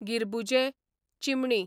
गिरबुजें, चिमणी